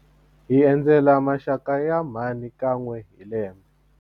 Hi endzela maxaka ya mhani kan'we hi lembe.